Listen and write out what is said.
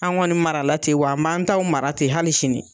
An ŋɔni ni marala ten, wa an b'an t'aw mara ten hali sini.